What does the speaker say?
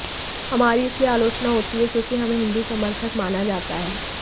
हमारी इसलिए आलोचना होती है क्योंकि हमें हिंदू समर्थक माना जाता है